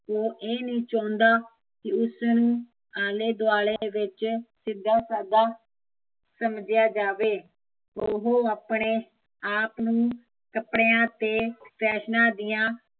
ਉਹ ਇਹ ਨਹੀਂ ਚਾਹੁੰਦਾ ਕੀ ਉਸਨੂੰ ਆਲੇ ਦੁਆਲੇ ਵਿੱਚ ਸਿੱਧਾ ਸਾਦਾ ਸਮਜਿਆ ਜਾਵੇ, ਉਹ ਆਪਣੇ ਨੂੰ ਕੱਪੜਿਆ ਅਤੇ ਫੈਸ਼ਨਾ ਦੀਆ